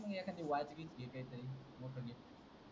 बघ न एखादी वॉच गिच जे काही मोठ घे,